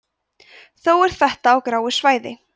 þó er þetta á gráu svæði